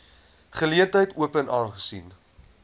geleentheid open aangesien